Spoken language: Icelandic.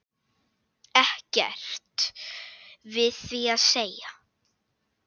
Ekkert við því að segja.